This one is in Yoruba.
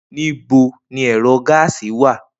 Nibo ni ẹrọ gáásì wa?